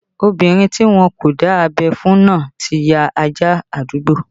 Obinrin ti wọn kò dá abẹ́ fún náà ti ya ajá àdúgbò